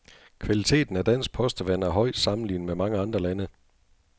Kvaliteten af dansk postevand er høj sammenlignet med mange andre lande.